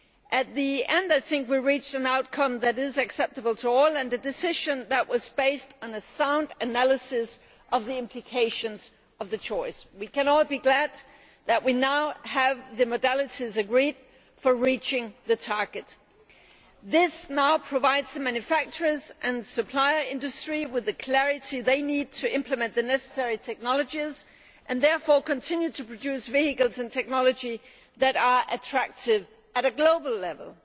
At the end, I think we reached an outcome that is acceptable to all, and a decision that was based on a sound analysis of the implications of the choice. We can all be glad that we now have the modalities agreed for reaching the target. This now provides the manufacturers and supplier industry with the clarity they need to implement the necessary technologies and therefore continue to produce vehicles and technology that are attractive at a global level.